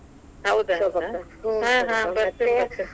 ಬತೇ೯ನ್ ಬತೇ೯ನ್.